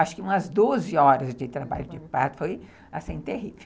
Acho que umas doze horas de trabalho de parto, foi terrível.